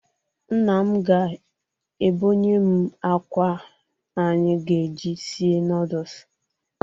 Nna m ga-ebonyem akwa anyị ga-eji sie nọọdụs.